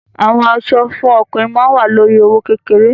Àwọn aṣọ fún ọkùnrin ma wa lórí i owó kékeré.